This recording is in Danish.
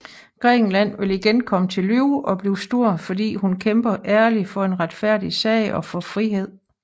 Grækenland vil igen komme til live og blive stor fordi hun kæmpede ærligt for en retfærdig sag og for frihed